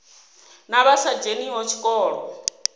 na vha sa dzheniho tshikolo